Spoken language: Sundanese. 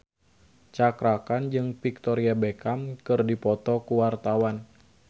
Cakra Khan jeung Victoria Beckham keur dipoto ku wartawan